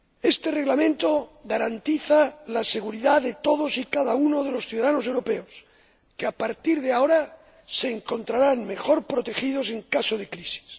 Este Reglamento garantiza la seguridad de todos y cada uno de los ciudadanos europeos, que, a partir de ahora, se encontrarán mejor protegidos en caso de crisis.